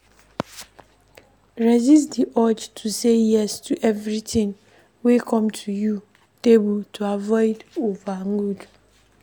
Resist di urge to say yes to everything wey come your table to avoid overload